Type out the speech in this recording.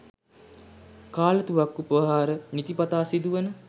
කාලතුවක්කු ප්‍රහාර නිතිපතා සිදුවන